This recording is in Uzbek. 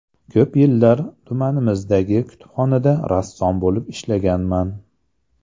Ko‘p yillar tumanimizdagi kutubxonada rassom bo‘lib ishlaganman.